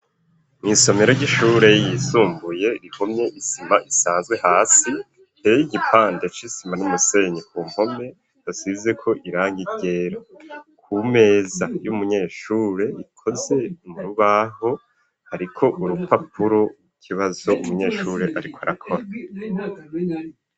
Mu isomero ry'ishure ryisumbuye rihomye isima isazwe hasi iteye igipande c'isima n'umusenyi ku mpome hasizeko irangi ryera ku meza y'umunyeshure ikoze mu urubaho hariko urupapuro w'ikibazo umunyeshuri ariko arakora